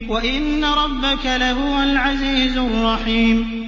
وَإِنَّ رَبَّكَ لَهُوَ الْعَزِيزُ الرَّحِيمُ